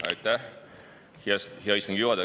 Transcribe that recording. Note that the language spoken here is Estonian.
Aitäh, hea istungi juhataja!